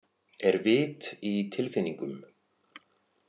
Er vit í tilfinningum?